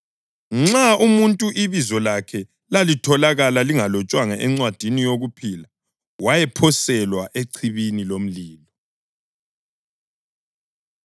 Nxa umuntu ibizo lakhe lalitholakala lingalotshwanga encwadini yokuphila wayephoselwa echibini lomlilo.